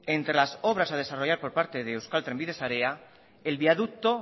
entre las obras a desarrollar por parte de euskal trenbide sarea el viaducto